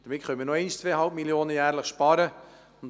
So können wir noch einmal jährlich 2,5 Mio. Franken sparen.